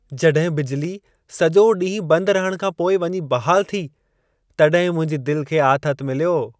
जॾहिं बिजिली सॼो ॾींहं बंद रहण खां पोइ वञी बहालु थी, तॾहिं मुंहिंजी दिल खे आथत मिलियो।